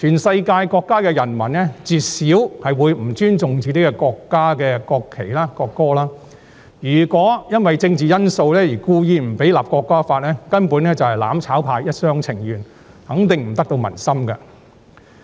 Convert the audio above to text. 世界各國的人民絕少會不尊重自己國家的國旗和國歌，如果因為政治因素而故意不讓《條例草案》訂立，根本是"攬炒派"一廂情願，肯定不得民心。